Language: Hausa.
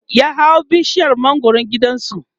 ya hau bishiyar mangwaran gidansu